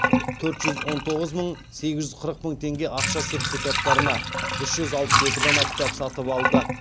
төрт жүз он тоғыз мың сегіз жүз қырық мың теңге ақша сертификаттарына үш жүз алпыс екі дана кітап сатып алды